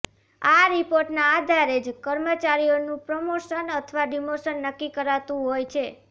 આ રિપોર્ટના આધારે જ કર્મચારીનું પ્રમોશન અથવા ડિમોશન નક્કી કરાતું હોય છે